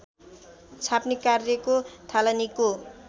छाप्ने कार्यको थालनीको